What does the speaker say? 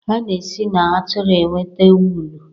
a na-esi na atụrụ enweta wụlụ